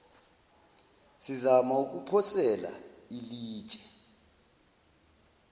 sizama ukuphosela ilitshe